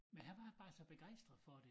Men han var bare så begejstret for det